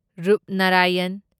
Rupnarayan